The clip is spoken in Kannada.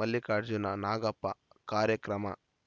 ಮಲ್ಲಿಕಾರ್ಜುನ ನಾಗಪ್ಪ ಕಾರ್ಯಕ್ರಮ